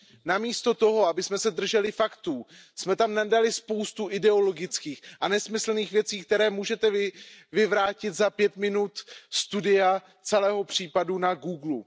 Namísto toho, abychom se drželi faktů, jsme tam uvedli spoustu ideologických a nesmyslných věcí, které můžete vyvrátit za pět minut studia celého případu na Googlu.